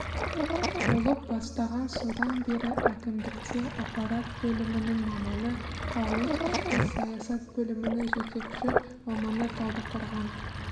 болып бастаған содан бері әкімдікте аппарат бөлімінің маманы қалалық ішкі саясат бөлімінің жетекші маманы талдықорған